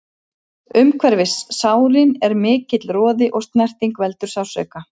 Umhverfis sárin er mikill roði og snerting veldur sársauka.